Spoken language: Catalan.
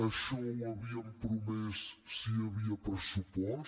això ho havíem promès si hi havia pressupost